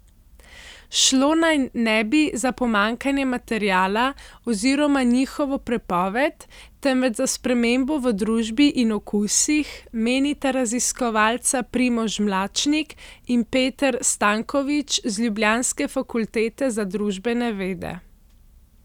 Šlo naj ne bi za pomanjkanje materiala oziroma njihovo prepoved, temveč za spremembo v družbi in okusih, menita raziskovalca Primož Mlačnik in Peter Stanković z ljubljanske Fakultete za družbene vede.